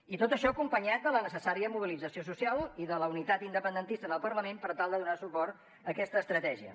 i tot això acompanyat de la necessària mobilització social i de la unitat independentista en el parlament per tal de donar suport a aquesta estratègia